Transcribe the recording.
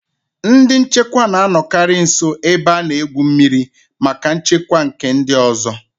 Ndị nchekwa na-anọkarị nso ebe a na-egwu mmiri maka nchekwa nke ndị ọzọ